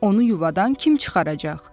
onu yuvadan kim çıxaracaq?